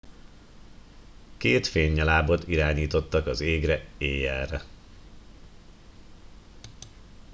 két fénynyalábot irányítottak az égre éjjelre